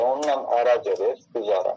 Elə onunla ara gedir, düz ara.